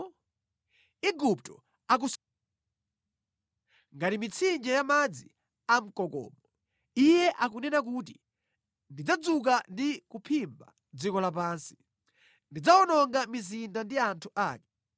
Igupto akusefukira ngati Nailo, ngati mitsinje ya madzi amkokomo. Iye akunena kuti, ‘Ndidzadzuka ndi kuphimba dziko lapansi; ndidzawononga mizinda ndi anthu ake.’